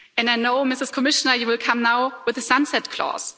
And I know, Madam Commissioner, you will come now with a sunset clause.